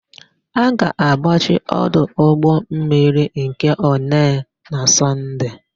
A ga-agbachi ọdụ ụgbọmmiri nke Onee na Sọnde.